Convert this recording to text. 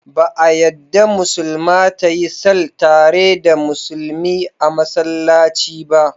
Ba a yadda Musulma ta yi sall tare da Musulmi a Massallaci ba.